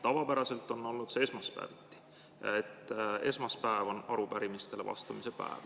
Tavapäraselt on olnud see esmaspäeviti, esmaspäev on arupärimistele vastamise päev.